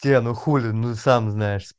те ну хули ну сам знаешь